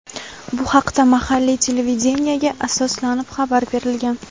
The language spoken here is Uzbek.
Bu haqda mahalliy televideniyega asoslanib xabar berilgan.